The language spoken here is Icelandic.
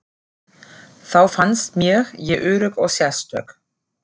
Þá fannst mér ég örugg og sérstök.